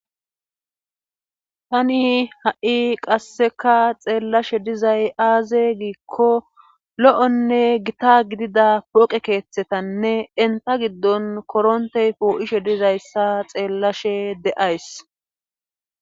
Tani haui qasseka xeellashe dizay aaze giikolouonne gita gidida pooqe keetharanne entta giddon koronttey poo7ishe dizayssa xeellashe de7ays.